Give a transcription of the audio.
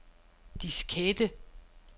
diskette